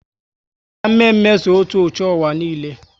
Ucha mme mme so otú ucha ụwa niile